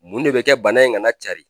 Mun de bɛ kɛ bana in kana carin